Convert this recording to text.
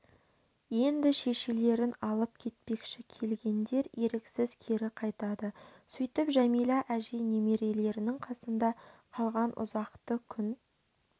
енді шешелерін алып кетпекші келгендер еріксіз кері қайтады сөйтіп жәмилә әжей немерелерінің қасында қалған ұзақты күн